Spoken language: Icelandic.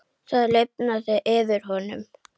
Það lifnaði yfir honum.